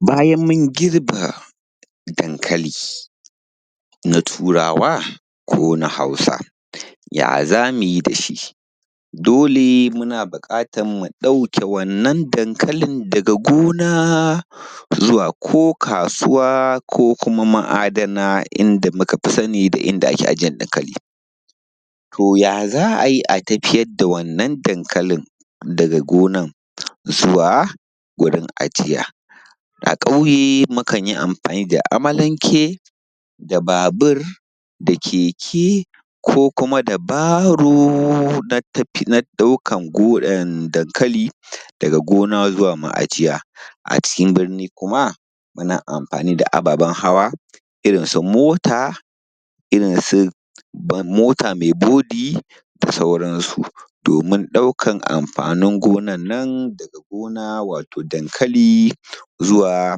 bayan mun girbe dankali na turawa ko na hausa ya zamu yi da shi dole muna buƙatar mu ɗauke wannan dankalin daga gona zuwa ko kasuwa ko kuma ma’adana in da muka fi sani da inda ake aje dankali to ya za ayi a tafiyar da wannan dankalin daga gonan zuwa gurin ajiya a ƙauye mukan yi amfani da amalanke da babur da keke ko kuma da baron na tafiyar ɗaukan dankali daga gona zuwa ma’ajiya a cikin birni kuma muna amfani da ababen hawa irin su mota mai bodi da sauran su domin ɗaukan amfanin gonar nan daga gona wato dankali zuwa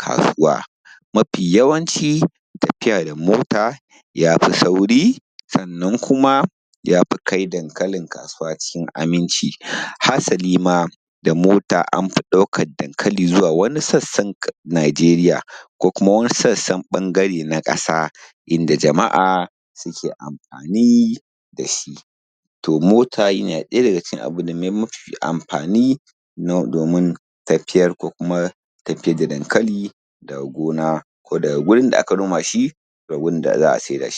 kasuwa mafi yawanci tafiya da mota yafi sauri sannan kuma yafi kai dankalin kasuwa cikin aminci hasalima da mota anfi ɗaukar dankali zuwa wani sassan najeriya ko kuma sassan ɓangare na kasa inda jama’a suke amfani da shi to mota yana ɗaya daga cikin mafi amfani domin tafiyar ko kuma tafiyar da dankali daga gona ko daga gurin da aka noma shi da wurin da za a saida shi